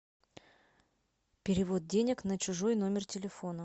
перевод денег на чужой номер телефона